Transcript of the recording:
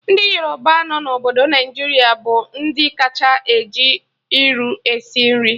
Ndị Yoruba nọ na obodo Naijiria bụ ndị kacha eji iru esi nri